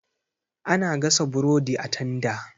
Ana gasa burodi a tanda.